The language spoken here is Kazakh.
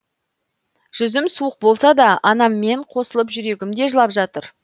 жүзім суық болса да анаммен қосылып жүрегім де жылап жатыр